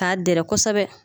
K'a dɛrɛ kosɛbɛ